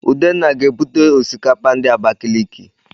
Udenna ga-ebute Osikapa ndi Abakiliki